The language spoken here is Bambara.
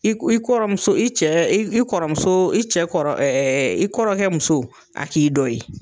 I k i kɔrɔmuso i cɛ i i kɔrɔmusoo i cɛ i kɔrɔ i kɔrɔkɛ muso a k'i dɔ ye.